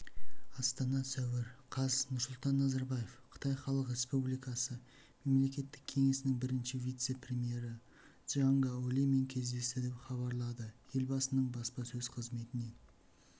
астана сәуір қаз нұрсұлтан назарбаев қытай халық республикасы мемлекеттік кеңесінің бірінші вице-премьері чжан гаолимен кездесті деп хабарлады елбасының баспасөз қызметінен